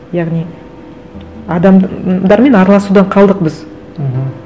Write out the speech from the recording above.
яғни адамдармен араласудан қалдық біз мхм